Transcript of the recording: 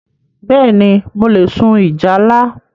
Bẹ́ẹ̀ni, mo le sun ìjálá